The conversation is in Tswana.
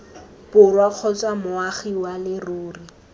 borwa kgotsa moagi wa leruri